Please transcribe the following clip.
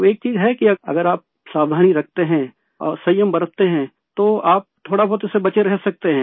तो एक चीज है कि अगर आप सावधानी रखते हैं और संयम बरतते हैं तो आप थोड़ा बहुत उससे बचे रह सकते हैं